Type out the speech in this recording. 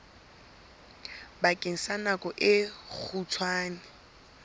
bakeng sa nako e kgutshwane